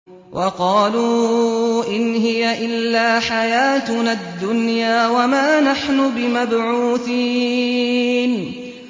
وَقَالُوا إِنْ هِيَ إِلَّا حَيَاتُنَا الدُّنْيَا وَمَا نَحْنُ بِمَبْعُوثِينَ